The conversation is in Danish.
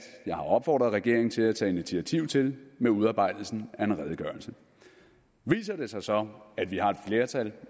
jeg har opfordret regeringen til at tage initiativ til med udarbejdelsen af en redegørelse viser det sig så at vi har et flertal